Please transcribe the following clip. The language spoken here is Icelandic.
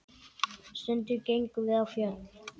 Stundum gengum við á fjöll.